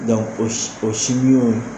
Dɔnku o sin